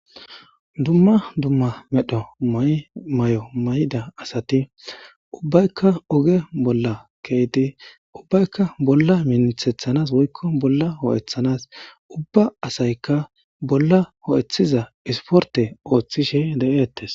Dumma dumma medho may7o may7da asati ubbaykka oge bolla keeydi ubbaykka bolla minithethanas woykko bolla ho7eththanas ubba asaykka bolla ho7ethiza isporte ooththishe de7eettes.